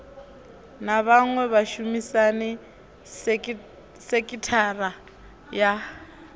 na vhaṅwe vhashumisani sekithara ya